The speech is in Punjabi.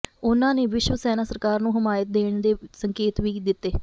ਉਨ੍ਹਾਂ ਨੇ ਸ਼ਿਵ ਸੈਨਾ ਸਰਕਾਰ ਨੂੰ ਹਮਾਇਤ ਦੇਣ ਦੇ ਸੰਕੇਤ ਵੀ ਦਿੱਤੇ